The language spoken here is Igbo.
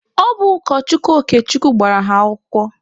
Ọ bụ ụkọchukwu Okechukwu gbara ha akwụkwọ.